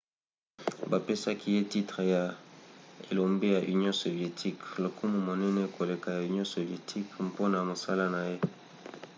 bapesaki ye titre ya elombe ya union sovietique lokumu monene koleka ya union sovietique mpona mosala na ye